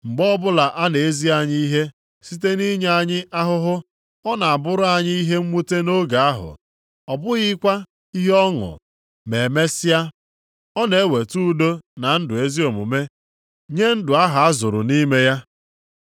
Mgbe ọbụla a na-ezi anyị ihe site nʼinye anyị ahụhụ, ọ na-abụrụ anyị ihe mwute nʼoge ahụ, ọ bụghịkwa ihe ọṅụ. Ma e mesịa, ọ na-eweta udo na ndụ ezi omume nye ndụ ahụ azụrụ nʼime ya.